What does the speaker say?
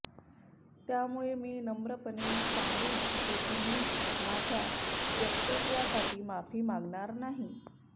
त्यामुळे मी नम्रपणे सांगू इच्छितो की मी माझ्या वक्तव्यासाठी माफी मागणार नाही